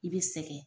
I bɛ sɛgɛn